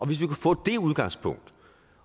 hvis vi kunne få det udgangspunkt